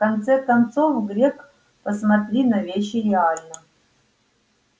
в конце концов грег посмотри на вещи реально